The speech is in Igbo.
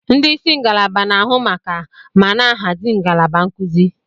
Ndị isi ngalaba na-ahụ maka ma na-ahazi ngalaba nkuzi.